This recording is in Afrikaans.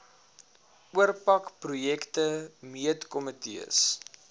oorpak projek meentkomitees